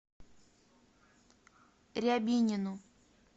рябинину